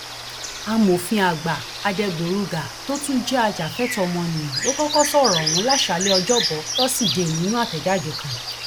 amòfin àgbà adẹgbòrugà tó tún jẹ ajàfẹtọọ ọmọnìyàn ló kọkọ sọrọ ọhún láṣáálẹ ọjọbọ tosidee nínú àtẹjáde kan